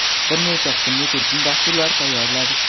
bir necha qismli turkum dasturlar tayyorladi.